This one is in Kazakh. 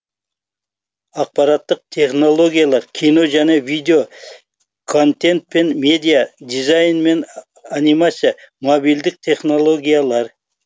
ақпараттық технологиялар кино және видео контент пен медиа дизайн мен анимация мобильдік технологиялар